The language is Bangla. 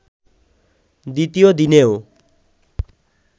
দ্বিতীয় দিনেও